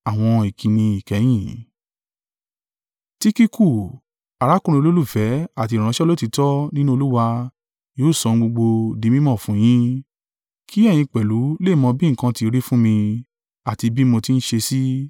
Tikiku, arákùnrin olùfẹ́ àti ìránṣẹ́ olóòtítọ́ nínú Olúwa yóò sọ ohun gbogbo dí mí mọ̀ fún yín, kí ẹ̀yin pẹ̀lú lè mọ̀ bí nǹkan ti rí fún mí àti bí mo tí ń ṣe sí.